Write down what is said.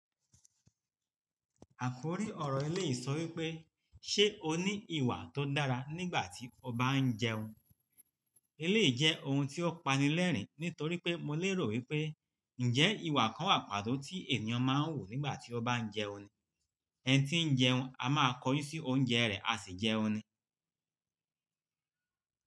Àkòrí ọ̀rọ̀ eléyìí sọ wípé, "Ṣé o ní ìwà tó dára nígbà tí ó ba ń jẹun?" Eléyìí jẹ́ ohun tí ó pani lẹ́rìn nítorí pé mo lérò wípé ǹjẹ́ ìwà kan wà pàtó tí ènìyàn máa ń hù nígbà tí ó ba ń jẹun ni? Ẹni tí ń jẹun a máa kọyín sí oúnjẹ rẹ̀, a sì jẹun ni.